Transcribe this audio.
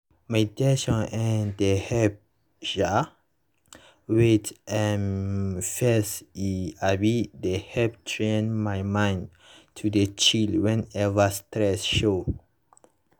meditation[um]dey help um wait um first e um dey help train my mind to dey chill whenever stress show